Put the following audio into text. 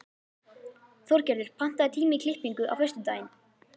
Þorgerður, pantaðu tíma í klippingu á föstudaginn.